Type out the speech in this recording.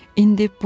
İndi budur.